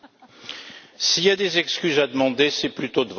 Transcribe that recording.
S'il y a des excuses à demander, c'est plutôt de votre part.